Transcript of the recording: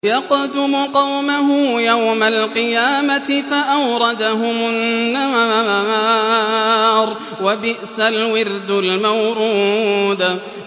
يَقْدُمُ قَوْمَهُ يَوْمَ الْقِيَامَةِ فَأَوْرَدَهُمُ النَّارَ ۖ وَبِئْسَ الْوِرْدُ الْمَوْرُودُ